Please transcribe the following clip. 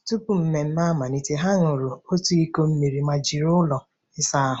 Tupu mmemme amalite, ha ṅụrụ otu iko mmiri ma jiri ụlọ ịsa ahụ.